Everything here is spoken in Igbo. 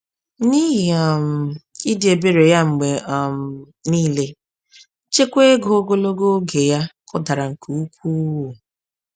N’ihi um ịdị ebere ya mgbe um niile, nchekwa ego ogologo oge ya kụdara nke ukwuu.